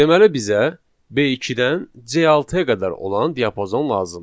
Deməli bizə B2-dən C6-ya qədər olan diapazon lazımdır.